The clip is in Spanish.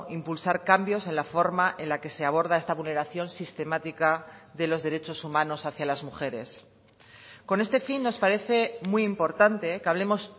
impulsar cambios en la forma en la que se aborda esta vulneración sistemática de los derechos humanos hacia las mujeres con este fin nos parece muy importante que hablemos